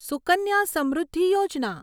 સુકન્યા સમૃદ્ધિ યોજના